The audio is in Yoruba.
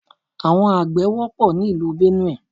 Àwọn àgbẹ̀ wọ́pọ̀ ni ìlú Benue.